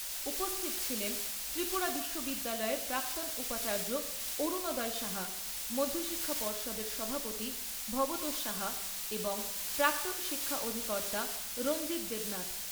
উপস্থিত ছিলেন ত্রিপুরা বিশ্ববিদ্যালয়ের প্রাক্তন উপাচার্য অরুনোদয় সাহা, মধ্যশিক্ষা পর্ষদের সভাপতি ভবতোষ সাহা এবং প্রাক্তন শিক্ষা অধিকর্তা রঞ্জিত দেবনাথ।